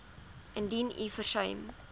indien u versuim